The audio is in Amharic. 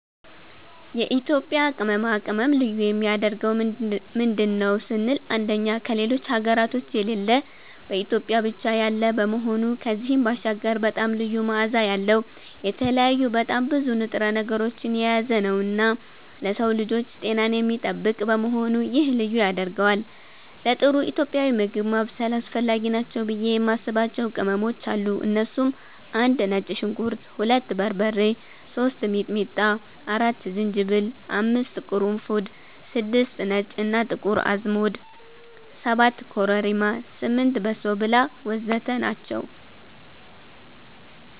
የኢትዮጵያ ቅመማ ቅመም ልዩ የሚያደርገው ምንድን ነው ስንል አንደኛ ከሌሎች ሀገራቶች የሌለ በኢትዮጵያ ብቻ ያለ መሆኑ ከዚህም ባሻገር በጣም ልዩ መዓዛ ያለዉ፣ የተለያዩ በጣም ብዙ ንጥረ ነገሮችን የያዘነዉና ለሰዉ ልጆች ጤናን የሚጠብቅ በመሆኑ ይሄ ልዩ ያደርገዋል። ለጥሩ ኢትዮጵያዊ ምግብ ማብሰል አስፈላጊ ናቸው ብዬ የማስባቸዉ ቅመሞች አሉ እነሱም፦ 1)ነጭ ሽንኩርት 2)በርበሬ 3)ሚጥሚጣ 4)ዝንጅብል 5)ቅርንፉድ 6)ነጭ እና ጥቁር አዝሙድ 7)ኮረሪማ 8)በሶብላ ወዘተ ናቸዉ።